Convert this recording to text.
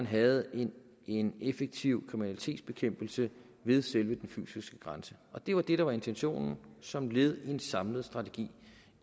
have en en effektiv kriminalitetsbekæmpelse ved selve den fysiske grænse og det var det der var intentionen som led i en samlet strategi